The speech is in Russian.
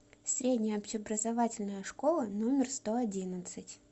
средняя общеобразовательная школа номер сто одиннадцать